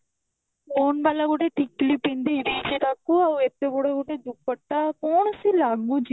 stone ବାଲା ଗୋଟେ ଟିକିଲି ପିନ୍ଧିଛି ସେ ତାକୁ ଆଉ ସେ ଏତେ ବଡ ଗୋଟେ ଡୁପଟ୍ଟା କଣ ସେ ଲାଗୁଛି ଯେ